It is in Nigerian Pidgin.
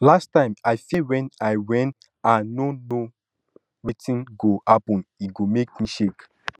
last time i fear wen i wen i no know wetin go happen e make me shake